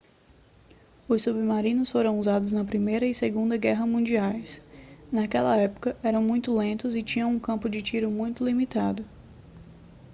os submarinos foram usados na primeira e segunda guerras mundiais naquela época eram muito lentos e tinham um campo de tiro muito limitado